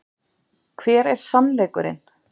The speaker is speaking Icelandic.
Hver er SANNLEIKURINN?